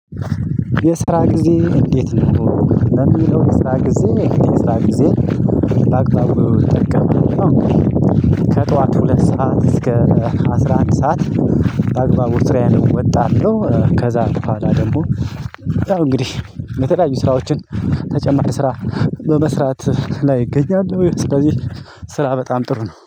የስራ ጊዜ እንዴት ነው? ለሚለው የስራ ጊዜ የስራ ጊዜ በአግባቡ እጠቀማለው። ከጠዋቱ ሁለት ሰዓት እስከ አስራ አንድ ሰዓት። በአግባቡ ስራዬን እወጣለሁ። ከዛ በኋላ ደግሞ እንግዲህ የተለያዩ ስራዎችን ተጨማሪ ስራ በመስራት ላይ እገኛለሁ። ስለዚህ ስራ በጣም ጥሩ ነው